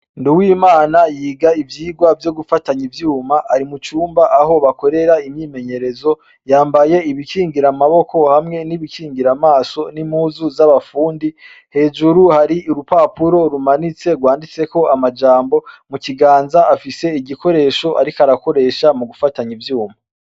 Nduwimana yiga ivyigwa vyo gufatanya ivyuma ari mucumba aho bakorera imyimenyerezo, yambaye ibikingira amaboko hamwe n’ibikingira amaso n’impuzu z’abafundi, hejuru hari urupapuro rumanitse rwanditseko amajambo mukiganza afise igikoresha ariko arakoresha mugufatanya ivyuma.